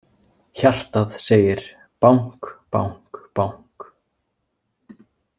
Hjartað segir bank- bank- bank.